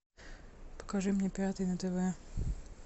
покажи мне пятый на тв